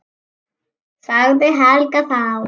sagði Helga þá.